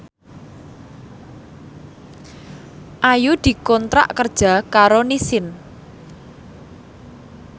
Ayu dikontrak kerja karo Nissin